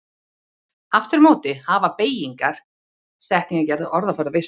Aftur á móti hafa beygingar, setningagerð og orðaforði varðveist betur.